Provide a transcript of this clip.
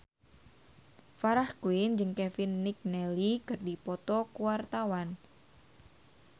Farah Quinn jeung Kevin McNally keur dipoto ku wartawan